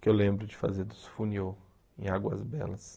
que eu lembro de fazer dos funiôs em Águas Belas.